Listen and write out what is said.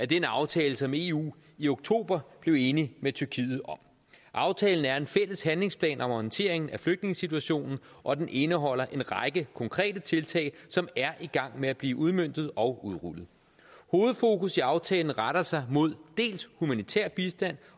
den aftale som eu i oktober blev enig med tyrkiet om aftalen er en fælles handlingsplan om håndteringen af flygtningesituationen og den indeholder en række konkrete tiltag som er i gang med at blive udmøntet og udrullet hovedfokus i aftalen retter sig mod dels humanitær bistand